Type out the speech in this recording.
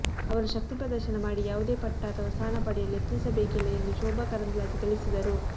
ಅವರು ಶಕ್ತಿ ಪ್ರದರ್ಶನ ಮಾಡಿ ಯಾವುದೇ ಪಟ್ಟ ಅಥವಾ ಸ್ಥಾನ ಪಡೆಯಲು ಯತ್ನಿಸಬೇಕಿಲ್ಲ ಎಂದು ಶೋಭಾ ಕರಂದ್ಲಾಜೆ ತಿಳಿಸಿದರು